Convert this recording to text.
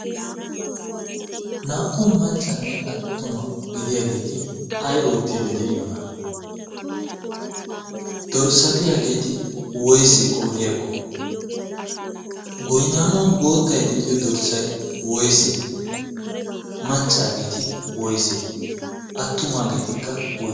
naa"u maccanne attuma gidiyaageeti ay oottidde de'iyoona dorssatiyaageeti woyse qoodiyaakko goynaanuwan boottai de'iyo dorssay woyse maccaageeti woyse attumaageetikka woyse